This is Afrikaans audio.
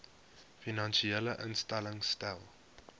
finansiële instellings stel